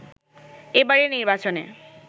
এবারের নির্বাচনে